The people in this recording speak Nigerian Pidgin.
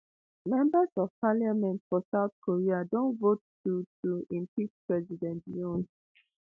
members of parliament for south korea don vote to to impeach president yoon